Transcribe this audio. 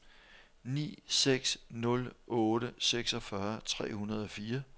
ni seks nul otte seksogfyrre tre hundrede og fire